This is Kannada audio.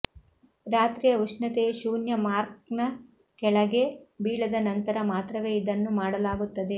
ರಾತ್ರಿಯ ಉಷ್ಣತೆಯು ಶೂನ್ಯ ಮಾರ್ಕ್ನ ಕೆಳಗೆ ಬೀಳದ ನಂತರ ಮಾತ್ರವೇ ಇದನ್ನು ಮಾಡಲಾಗುತ್ತದೆ